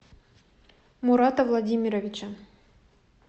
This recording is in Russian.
мурата владимировича